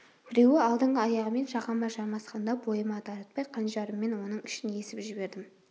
біреуі алдыңғы аяғымен жағама жармасқанда бойыма дарытпай қанжарыммен оның ішін есіп жібердім